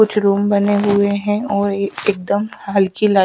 कुछ रूम बने हुए हैं और एकदम हल्की ला--